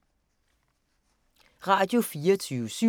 Radio24syv